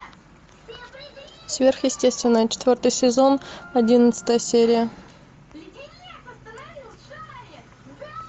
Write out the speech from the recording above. сверхъестественное четвертый сезон одиннадцатая серия